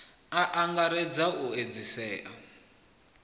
a a angaredza u edzisea